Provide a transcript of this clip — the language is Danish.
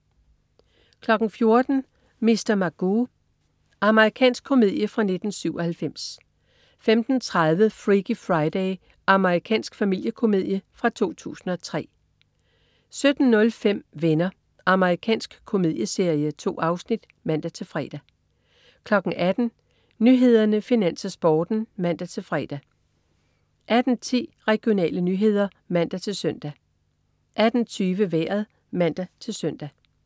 14.00 Mr. Magoo. Amerikansk komedie fra 1997 15.30 Freaky Friday. Amerikansk familiekomedie fra 2003 17.05 Venner. Amerikansk komedieserie. 2 afsnit (man-fre) 18.00 Nyhederne, Finans, Sporten (man-fre) 18.10 Regionale nyheder (man-søn) 18.20 Vejret (man-søn)